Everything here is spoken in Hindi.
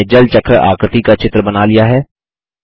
हमने जल चक्र आकृति का चित्र बना लिया है